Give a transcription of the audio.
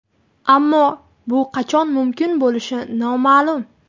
Ammo bu qachon mumkin bo‘lishi noma’lum.